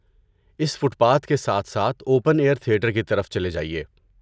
اس footpath کے ساتھ ساتھ اوپن ایئر تھیٹر کی طرف چلے جائیے۔